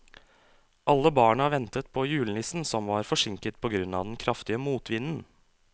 Alle barna ventet på julenissen, som var forsinket på grunn av den kraftige motvinden.